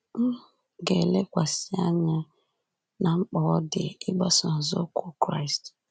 M ga-elekwasị anya ná mkpa ọ dị ịgbaso nzọụkwụ Kraịst.